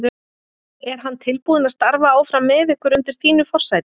Er hann tilbúinn að starfa áfram með ykkur undir þínu forsæti?